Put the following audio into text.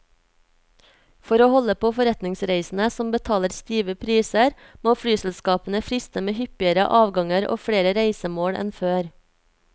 For å holde på forretningsreisende som betaler stive priser, må flyselskapene friste med hyppigere avganger og flere reisemål enn før.